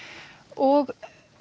og